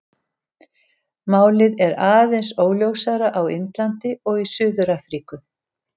Málið er aðeins óljósara á Indlandi og í Suður-Afríku.